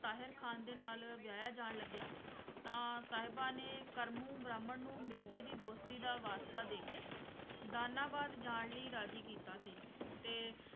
ਤਾਹਿਰ ਖ਼ਾਨ ਦੇ ਨਾਲ ਵਿਆਹਿਆ ਜਾਣ ਲੱਗਿਆ ਤਾਂ ਸਾਹਿਬਾਂ ਨੇ ਕਰਮੂ ਬ੍ਰਾਹਮਣ ਨੂੰ ਮਿਰਜ਼ੇ ਦੀ ਦੋਸਤੀ ਦਾ ਵਾਸਤਾ ਦੇ ਕੇ ਦਾਨਾਬਾਦ ਜਾਣ ਲਈ ਰਾਜੀ ਕੀਤਾ ਸੀ, ਤੇ